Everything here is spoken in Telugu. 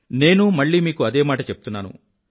నేనూ మళ్ళీ మీకు అదే మాట చెప్తున్నాను